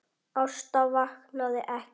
Ásta vaknaði ekki.